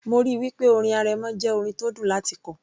mo ríi wí pé orin arẹmọ jẹ́ orin tó dùn láti kọ